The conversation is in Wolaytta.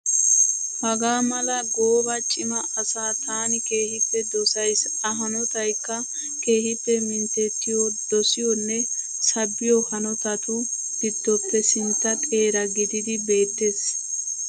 Hagaa mala gooba cima asaa taani keehippe dosyisi. A hanotayikka keehippe minttettiyoo, dosiyoonne sabbiyoo hanotatu giddoppe sintta xeera gididi beettes.